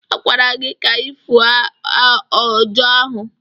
A gwara gị ka ị fụọ ọjà ahụ!